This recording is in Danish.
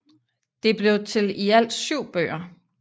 Det blev til i alt syv bøger